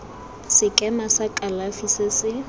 sekema sa kalafi se se